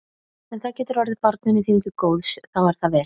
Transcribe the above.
Ef það getur orðið barninu þínu til góðs þá er það vel.